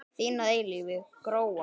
Þín að eilífu, Gróa.